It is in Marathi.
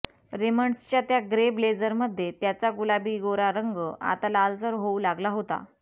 रेमंड्सच्या त्या ग्रे ब्लेझरमध्ये त्याचा गुलाबी गोरा रंग आता लालसर होऊ लागला होता